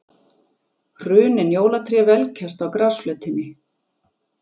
Hrunin jólatré velkjast á grasflötinni.